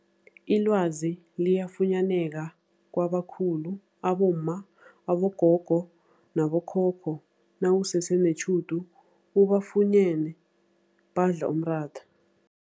Ilwazi liyafunyaneka kabakhulu abomma, abogogo nabokhokho nawusese netjhudu ubafunyene badla umratha.